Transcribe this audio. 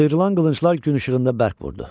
Sıyırılan qılınclar gün işığında bərk vurdu.